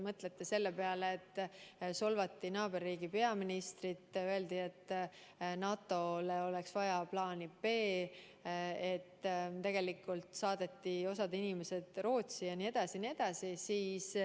Mõelge selle peale, et solvati naaberriigi peaministrit, öeldi, et NATO‑le oleks vaja plaani B, "saadeti" osa inimesi Rootsi jne.